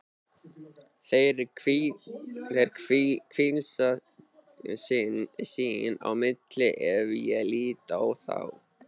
Þeir hvísla sín á milli ef ég lít á þá.